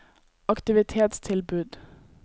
aktivitetstilbud